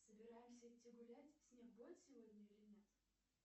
собираемся идти гулять снег будет сегодня или нет